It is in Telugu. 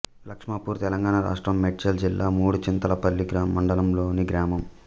లక్ష్మాపూర్ తెలంగాణ రాష్ట్రం మేడ్చల్ జిల్లా మూడుచింతలపల్లి మండలంలోని గ్రామం